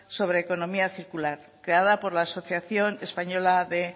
sobre economía circular creada por la asociación española de